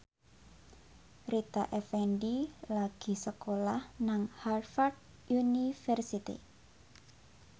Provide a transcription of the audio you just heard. Rita Effendy lagi sekolah nang Harvard university